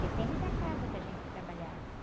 Depende da casa que a gente trabalhava.